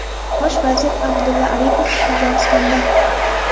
Bosh vazir Abdulla Aripov Qozog‘istonda.